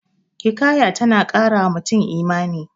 Hikaya ta na ƙara wa mutum Imani